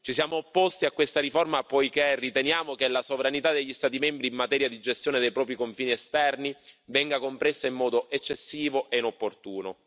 Ci siamo opposti a questa riforma, poiché riteniamo che la sovranità degli Stati membri in materia di gestione dei propri confini esterni venga compressa in modo eccessivo e inopportuno.